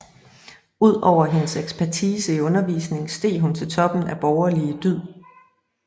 Ud over hendes ekspertise i undervisning steg hun til toppen af borgerlige dyd